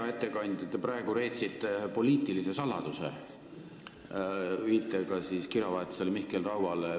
Hea ettekandja, te praegu reetsite poliitilise saladuse, viitega kirjavahetusele Mihkel Rauaga.